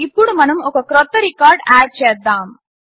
ఇప్పుడు మనం ఒక క్రొత్త రికార్డ్ ఆడ్ చేద్దాము